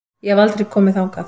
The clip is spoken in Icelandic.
Ég hef aldrei komið þangað.